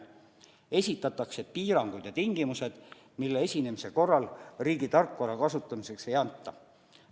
Esitatakse piirangud ja tingimused, mille esinemise korral riigi tarkvara kasutamiseks luba ei anta.